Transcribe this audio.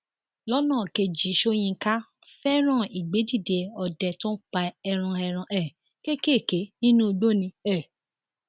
lọnà kejìsoyinka fẹràn ìgbédídé ọdẹ tó ń pa ẹran ẹran um kéékèèké nínú igbó ni um